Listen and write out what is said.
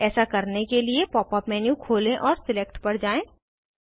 ऐसा करने के लिए पॉप अप मेन्यू खोलें और सिलेक्ट पर जाएँ